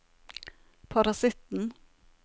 parasitten